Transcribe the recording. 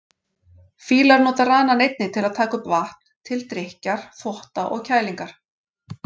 Fílar nota ranann einnig til að taka upp vatn, til drykkjar, þvotta og kælingar.